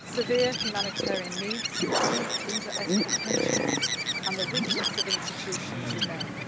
severe humanitarian needs, deep interethnic tensions and the weakness of institutions remain.